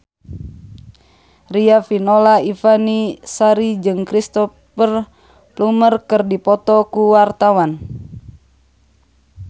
Riafinola Ifani Sari jeung Cristhoper Plumer keur dipoto ku wartawan